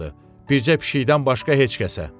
Bircə pişikdən başqa heç kəsə.